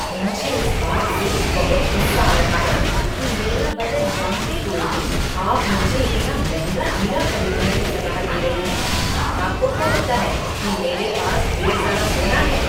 मुझे इस बात से बहुत गुस्सा आ रहा है कि मेरा बजट जानते हुए भी आप तुम मुझे इतना महंगा हीरा खरीदने की सलाह दे रहे हैं। आपको क्या लगता है कि मेरे पास ढेर सारा सोना है?